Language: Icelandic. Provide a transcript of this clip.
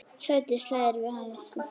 Sædís hlær við.